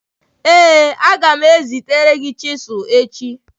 Ee a ga m ezitere gi chisilu echi.